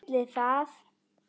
Ætli það?